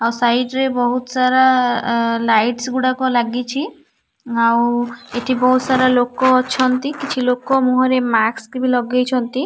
ଆଉ ସାଇଟ ରେ ବହୁତ ସାରା ଅ ଅ ଲାଇଟସ ଗୁଡ଼ାକ ଲାଗିଛି ଆଉ ଏଠି ବହୁତ ସାରା ଲୋକ ଅଛନ୍ତି କିଛି ଲୋକ ମୁହଁରେ ମାକ୍ସ ବି ଲଗେଇଛନ୍ତି ଆଉ--